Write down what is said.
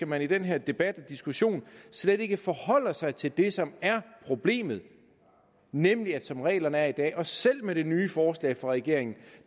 man i den her debat og diskussion slet ikke forholder sig til det som er problemet nemlig at som reglerne er i dag og selv med det nye forslag fra regeringen